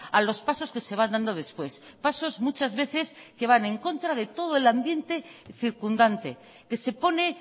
a los pasos que se va dando después pasos muchas veces que van en contra de todo el ambiente circundante que se pone